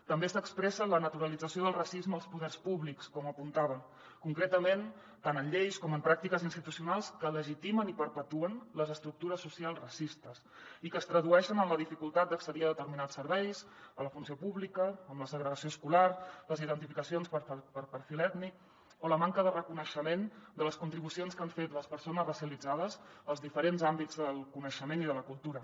també s’expressa la naturalització del racisme als poders públics com apuntava concretament tant en lleis com en pràctiques institucionals que legitimen i perpetuen les estructures socials racistes i que es tradueixen en la dificultat d’accedir a determinats serveis a la funció pública en la segregació escolar les identificacions per perfil ètnic o la manca de reconeixement de les contribucions que han fet les persones racialitzades als diferents àmbits del coneixement i de la cultura